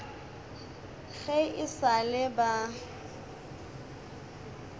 ge e sa le ba